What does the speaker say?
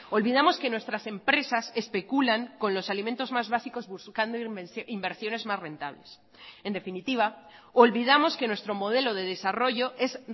olvidamos que nuestras empresas especulan con los alimentos más básicos buscando inversiones más rentables en definitiva olvidamos que nuestro modelo de desarrollo es